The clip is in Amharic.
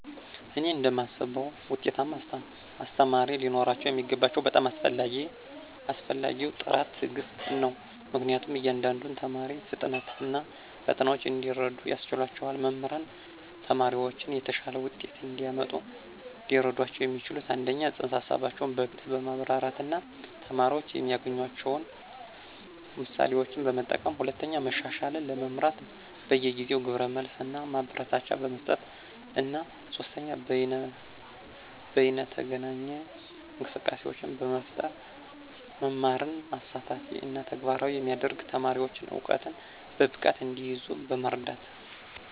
እኔ እንደማስበው ውጤታማ አስተማሪ ሊኖረው የሚገባው በጣም አስፈላጊው ጥራት ትዕግስት ነው, ምክንያቱም የእያንዳንዱን ተማሪ ፍጥነት እና ፈተናዎች እንዲረዱ ያስችላቸዋል. መምህራን ተማሪዎችን የተሻለ ውጤት እንዲያመጡ ሊረዷቸው የሚችሉት - 1) ፅንሰ-ሀሳቦችን በግልፅ በማብራራት እና ተማሪዎች የሚያገናኟቸውን ምሳሌዎችን በመጠቀም፣ 2) መሻሻልን ለመምራት በየጊዜው ግብረ መልስ እና ማበረታቻ በመስጠት፣ እና 3) በይነተገናኝ እንቅስቃሴዎችን በመፍጠር መማርን አሳታፊ እና ተግባራዊ የሚያደርግ፣ ተማሪዎች እውቀትን በብቃት እንዲይዙ በመርዳት።